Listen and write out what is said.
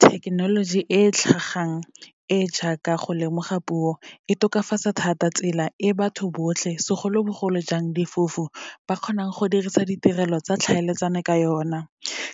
Thekenoloji e e tlhagang e e jaaka go lemoga puo, e tokafatsa thata tsela e batho botlhe segolobogolojang difofu ba kgonang go dirisa ditirelo tsa tlhaeletsano ka yona.